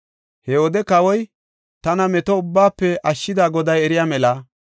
He wode kawoy, “Tana meto ubbaafe ashshida Goday eriya mela.